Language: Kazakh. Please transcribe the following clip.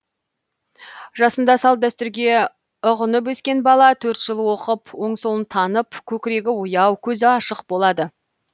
жасында салт дәстүрге ұғынып өскен бала төрт жыл оқып оң солын танып көкірегі ояу көзі ашық болады